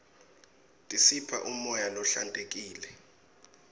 tisipha umoya lohlantekile